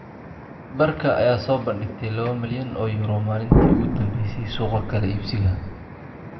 Barca ayaa soo bandhigtay 2 milyan oo euro maalintii ugu dambeysay suuqa kala iibsiga.